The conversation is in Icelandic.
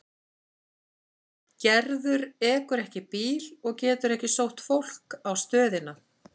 Gerður ekur ekki bíl og getur ekki sótt fólk á stöðina.